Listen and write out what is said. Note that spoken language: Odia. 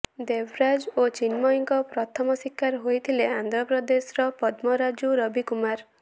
ଦେବରାଜ ଓ ଚିନ୍ମୟୀଙ୍କ ପ୍ରଥମ ଶିକାର ହୋଇଥିଲେ ଆନ୍ଧ୍ରପ୍ରଦେଶର ପଦ୍ମରାଜୁ ରବିକୁମାର